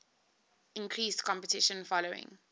increased competition following